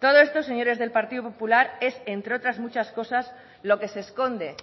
todo esto señores del partido popular es entre otras muchas cosas lo que se esconde